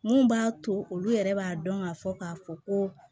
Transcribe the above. Mun b'a to olu yɛrɛ b'a dɔn ka fɔ k'a fɔ ko